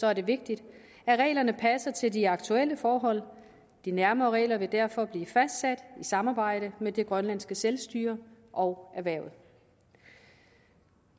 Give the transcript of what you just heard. er det vigtigt at reglerne passer til de aktuelle forhold og de nærmere regler vil derfor blive fastsat i samarbejde med det grønlandske selvstyre og erhvervet